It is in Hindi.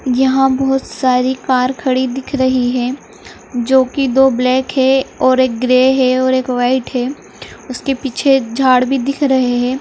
यहाँ बोहोत सारी कार खड़ी दिख रही है। जो की दो ब्लैक है और एक ग्रे है और एक वाइट है उसके पीछे एक झाड़ भी दिख रहे है।